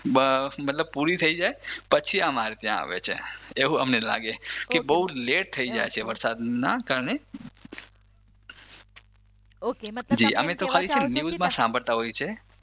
પુરી થઇ જાય પછી અમારે ત્યાં આવે છે એવું અમને લાગે કે બઉ લેટ થઇ જાય છે વરસાદના કારણે, ઓક મતલબ અમે ખાલી છે ને ન્યૂઝમાં સાંભળતા હોઈએ છીએ